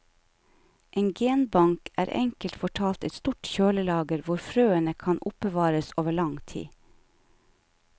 En genbank er enkelt fortalt et stort kjølelager hvor frøene kan oppbevares over lang tid.